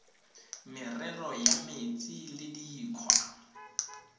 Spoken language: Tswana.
merero ya metsi le dikgwa